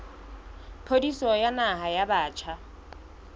pholisi ya naha ya batjha